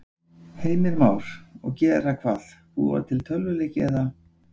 Heimir Már: Og gera hvað, búa til tölvuleiki eða?